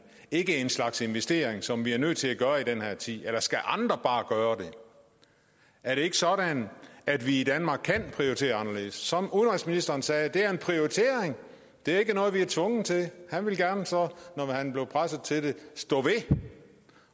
ikke en slags investering som vi er nødt til at gøre i den her tid eller skal andre bare gøre det er det ikke sådan at vi i danmark kan prioritere anderledes som udenrigsministeren sagde er det en prioritering det er ikke noget vi er tvunget til han ville gerne så når han blev presset til det stå ved det